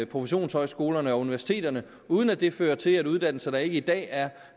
professionshøjskolerne og universiteterne uden at det fører til at uddannelser der ikke i dag er